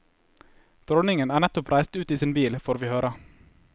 Dronningen er nettopp reist ut i sin bil, får vi høre.